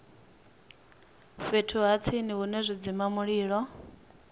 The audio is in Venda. fhethu ha tsini hune zwidzimamulilo